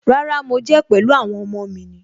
Rárá, mo jẹ́ pẹ̀lú àwọn ọmọ ni.